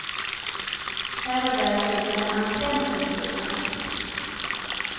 Här och där sticker en antenn upp ur snön.